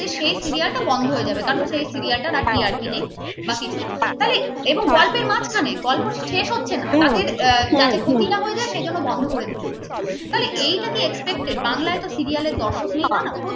সেই serial টা বন্ধ হয়ে যাবে কারণ সেই serial টার আর TRP নেই বা কিছু এবং গল্পের মাঝখানে গল্প শেষ হচ্ছে না যাতে ক্ষতি না হয়েছে সেজন্য বন্ধ করে দিতে হচ্ছে তাহলে এটা কি expected বাংলায় তো serial র দর্শক নেই না